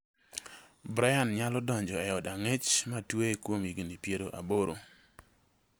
Brian nyalo donjo e od ang'ech matweye kuom higni piero aboro.